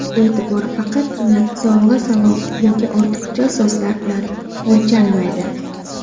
E’tibor faqatgina sovg‘a-salom yoki ortiqcha so‘zlar bilan o‘lchanmaydi.